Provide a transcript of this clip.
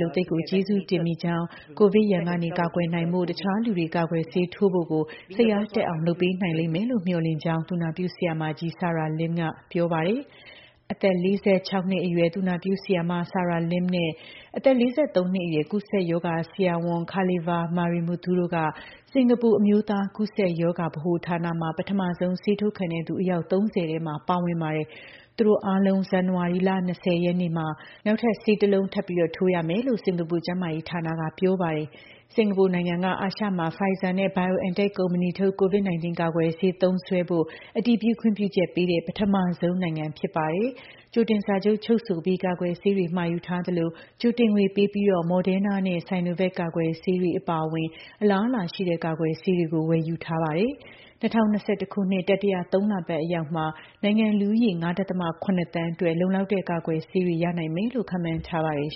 လို့ သိပ်ကို ကျေးဇူးတင်မိကြောင်း၊ ကိုဗစ်ရန်ကနေ ကာကွယ်နိုင်ဖို့ တခြားလူတွေ ကာကွယ် ဆေးထိုးဖို့ကို စိတ်အားတက်အောင် လုပ်ပေးနိုင်လိမ့်မယ်လို့လည်း မျှော်လင့်ပါတယ်။" လို့ သူနာပြု ဆရာမကြီး Sarah Lim ကပြောပါတယ်။ အသက် ၄၆ နှစ်အရွယ် သူနာပြုဆရာမ Sarah Lim နဲ့ အသက် ၄၃ နှစ်အရွယ် ကူးစက်ရောဂါဆရာဝန် Kalisvar Marimuthu တို့က စင်္ကာပူ အမျိုးသား ကူးစက်ရောဂါဗဟိုဌာနမှာ ပထမဆုံးဆေးထိုးခံသူ အယောက် ၃၀ ထဲ ပါဝင်ပါတယ်။ သူတို့တတွေအားလုံး ဇန်နဝါရီလ ၂၀ ရက်နေ့မှာ နောက်ထပ် ဆေးတစ်လုံးထပ်ထိုးကြရမယ်လို့ စင်္ကာပူ ကျန်းမာရေးဌာနက ပြောပါတယ်။ စင်္ကာပူနိုင်ငံက အာရှမှာ Pfizer နဲ့ BioNTec ကုမ္ပဏီထုတ် COVID 19 ကာကွယ်ဆေး သုံးစွဲဖို့ အတည်ပြု ခွင့်ပြုချက်ပေးတဲ့ ပထမဆုံး နိုင်ငံ ဖြစ်ပါတယ်။ ကြိုတင်စာချုပ်ချုပ်ဆိုပြီး ကာကွယ်ဆေးတွေမှာယူထားသလို ကြိုတင်ငွေပေးပြီး Moderna နဲ့ Sonovac ကာကွယ်ဆေးတွေ အပါအဝင် အလားအလာ ရှိတဲ့ ကာကွယ်ဆေးတွေကို ဝယ်ယူထားပါတယ်။ ၂၀၂၁ ခုနှစ်တတိယသုံးလပတ်အရောက်မှာ နိုင်ငံ့လူဦးရေ ၅.၇ သန်းအတွက် လုံလောက်တဲ့ ကာကွယ်ဆေးတွေ ရနိုင်မယ်လို့ ခန့်မှန်းထားပါတယ်